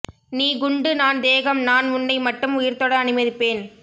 நீ குண்டு நான் தேகம் நான் உன்னை மட்டும் உயிர்தொட அனுமதிப்பேன்